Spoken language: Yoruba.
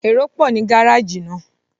Èrò pọ̀ ní gárájì náà